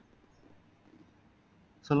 சொல்லுங்க